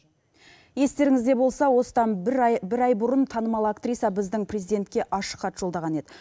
естеріңізде болса осыдан бір ай бір ай бұрын танымал актриса біздің президентке ашық хат жолдаған еді